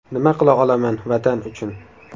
Nima qila olaman Vatan uchun?